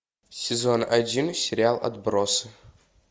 сезон один сериал отбросы